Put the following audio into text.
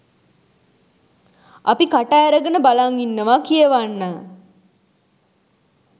අපි කට ඇරගෙන බලන් ඉන්නවා කියවන්න